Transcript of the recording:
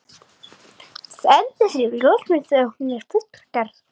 Sendi þér ljósmynd þegar hún er fullgerð.